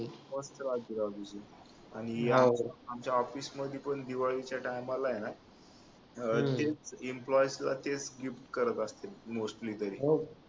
खूप त्रास दिला होता आणि यावेळी आमच्या ऑफिस मध्ये पण दिवाळीच्या Time ला आहे ना अह तेच employee तेच skip करत असतील mostly तरी